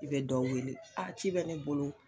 I bɛ dɔ weele ci bɛ ne bolo